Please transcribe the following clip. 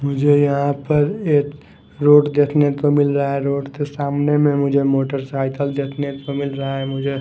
मुझे यहां पर एक रोड देखने को मिल रहा है रोड के सामने में मुझे मोटरसाइकिल देखने को मिल रहा है मुझे--